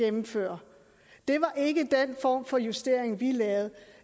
gennemfører det var ikke den form for justering vi lavede